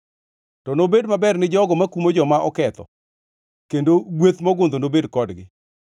To nobed maber gi jogo makumo joma oketho, kendo gweth mogundho nobed kodgi.